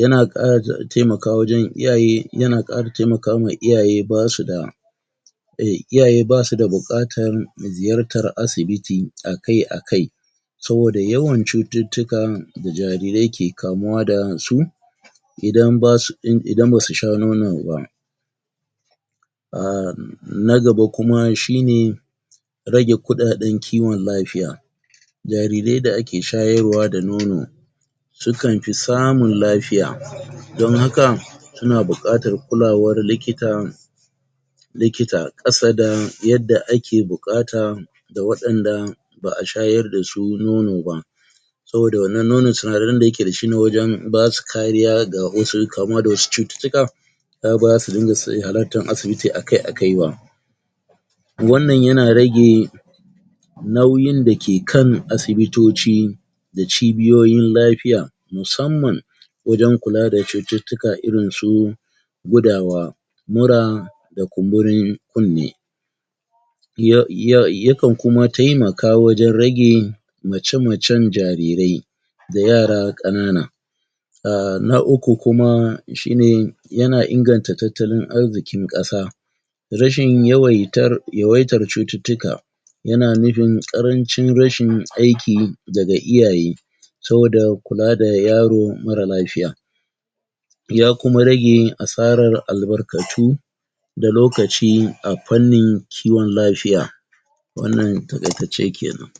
yana ƙara? temaka wajen iyaye, yana ƙara temaka ma iyaye basu da eh, iyaye basuda buƙatan ziyartan asibiti akai-akai saboda yawan cututtukan da jarirai ke kamuwa dasu idan basu in idan basu sha nono ba um na gaba kuma shine rage kuɗaɗen kiwon lafiya jarirai da ake shayarwa da nono sukan fi samun lafiya don haka suna buƙatar kulawar likita likita ƙasa da yadda ake buƙata da waɗanda ba'a shayar dasu nono ba saboda wannan nonon sinadaran da yake dashi na wajen basu kariya ga wasu, kamuwa da wasu cututtuka ya bazasu dinga halattan asibiti aka-akai ba wannan yana rage nauyin dake kan asibitoci da cibiyoyin lafiya musamman wajen kula da cututtuka irinsu gudawa mura da kumburin kunne ya ya yakan kuma taimaka wajen rage mace-macen jarirai da yara ƙanana um na uku kuma shine yana inganta tattalin arziƙin ƙasa rashin yawaitar, yawaitar cututtuka yana nufin ƙarancin rashin aiki daga iyaye saboda kula da yaro mara lafiya ya kuma rage asarar albarkatu da lokaci a fannin kiwon lafiya wannan taƙaitacce kenan.